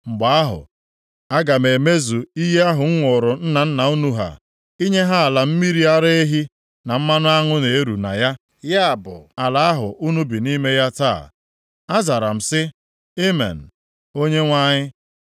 ‘Mgbe ahụ, aga m emezu iyi ahụ m ṅụụrụ nna nna unu ha, inye ha ala mmiri ara ehi na mmanụ aṅụ na-eru na ya,’ ya bụ, ala ahụ unu bi nʼime ya taa.” Azara m sị, “Amen, Onyenwe anyị.”